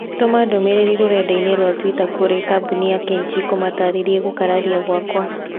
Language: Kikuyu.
Tũma ndũmĩrĩri rũrenda-inī rũa tũita kũrĩĩ kambuni Kenchic ũmataarĩrie gũkararia gwakwa